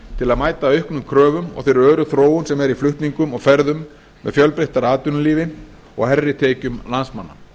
til að mæta auknum kröfum og þeirri öru þróun sem er í flutningum og ferðum með fjölbreyttara atvinnulífi og hærri tekjum landsmanna